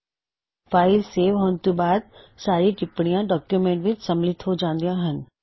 ਜਦੋਂ file save ਹੋ ਜਾਉਂਦੀ ਹੇ ਤਾਂ ਸਾਰੀਆ ਟਿਪਣੀਆ ਡੌਕਯੁਮੈੱਨਟ ਵਿੱਚ ਸੰਮਿਲਿਤ ਹੋ ਜਾਉਂਦੀਆ ਹੱਨ